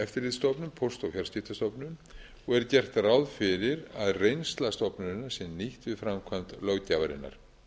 fyrir hendi eftirlitsstofnun póst og fjarskiptastofnun og er gert ráð fyrir að reynsla stofnunarinnar sé nýtt við framkvæmd löggjafarinnar